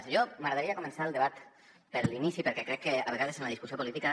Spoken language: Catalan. a mi m’agradaria començar el debat per l’inici perquè crec que a vegades amb la discussió política